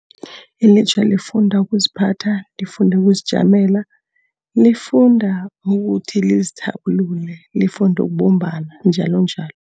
Ilutjha lifunda ukuziphatha, lifunda ukuzijamela, lifunda ukuthi lizithabulule, lifunde ukubumbana, njalonjalo.